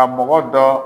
Ka mɔgɔ dɔ